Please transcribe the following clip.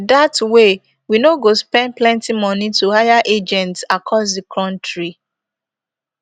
dat way we no go spend plenty moni to hire agents across di kontri